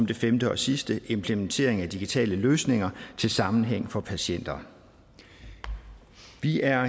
det femte og sidste en implementering af digitale løsninger til sammenhæng for patienter vi er